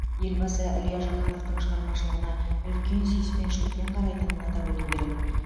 елбасы илья жақановтың шығармашылығына үлкен сүйіспеншілікпен қарайтынын атап өту керек